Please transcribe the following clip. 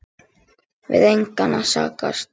Við engan að sakast